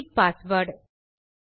repeat password